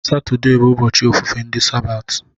Satọde bụ ụbọchị ofufe ndị sabati.